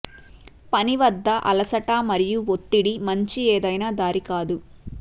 పని వద్ద అలసట మరియు ఒత్తిడి మంచి ఏదైనా దారి కాదు